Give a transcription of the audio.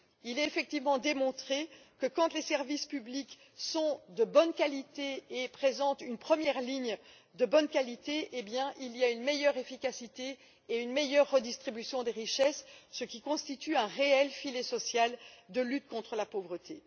Il est effectivement démontré que, quand les services publics sont de bonne qualité et présentent une première ligne de bonne qualité, il y a une meilleure efficacité et une meilleure redistribution des richesses, ce qui constitue un réel filet social de lutte contre la pauvreté.